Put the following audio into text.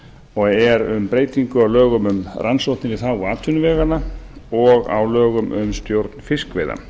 og er um breytingu á lögum um rannsóknir í þágu atvinnuveganna og á lögum um stjórn fiskveiða